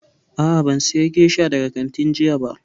A'a, ban saya gesha daga kantin jiya ba